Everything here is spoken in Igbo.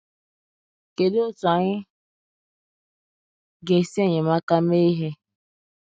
kedụ otú anyị ga esi enyemaka mee ihe?